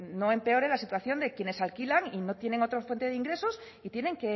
no empeore la situación de quienes alquilan y no tienen otra fuente de ingresos y tienen